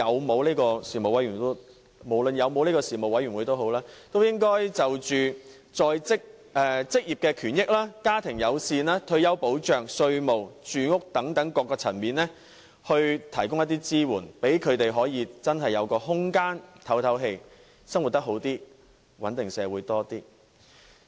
不管有否中產事務委員會，政府也應該就着職業權益、家庭友善、退休保障、稅務和住屋等各層面為他們提供支援，讓他們有真正喘息的空間，生活得以改善，這亦有助穩定社會。